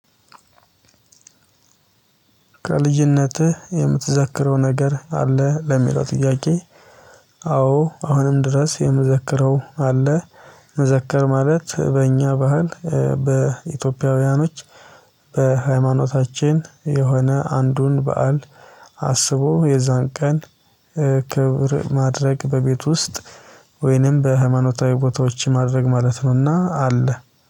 ከልጅነትህ የምትዘክረው ነገር አለ ለሚለው ጥያቄ? አዎ አሁንም ድረስ የምዘከረው አለ። መዘከር ማለት በእኛ ባህል በኢትዮጵያውያኖች በሃይማኖታችን የሆነ አንዱን በዓል አስቦ የዛን ቀን ክብር ማድረግ በቤት ውስጥ ወይንም በሃይማኖታዊ ቦታዎች ማድረግ ማለት ነውና አለ